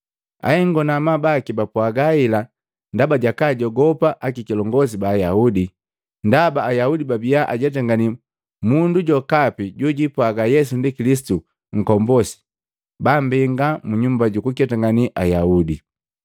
Ahengo na amabu baki bapwaga hela ndaba jakaajogopa akikilongosi ba Ayaudi, ndaba Ayaudi babiya ajetangani mundu jokapi jojipwaga Yesu ndi Kilisitu Nkombosi bambenga mu Nyumba jukuketangane Ayaudi.